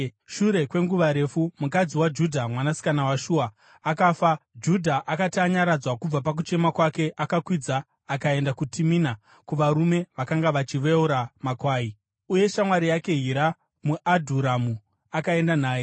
Shure kwenguva refu mukadzi waJudha, mwanasikana waShua, akafa. Judha akati anyaradzwa kubva pakuchema kwake, akakwidza akaenda kuTimina kuvarume vakanga vachiveura makwai, uye shamwari yake Hira muAdhuramu akaenda naye.